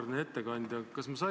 Auväärne ettekandja!